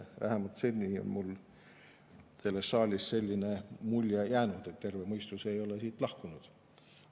Vähemalt seni on mulle sellest saalist selline mulje jäänud, et terve mõistus ei ole siit lahkunud.